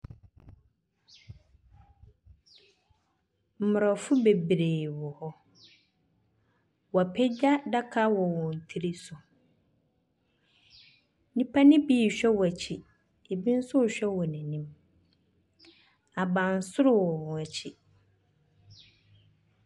Mmrɔfo bebree wɔ hɔ. Wɔapegya adaka wɔ wɔn tiri so. Nnipa no bi rehwɛ wɔn akyi. Ebi nso rehwɛ wɔn anim. Abansoro wɔ wɔn akyi.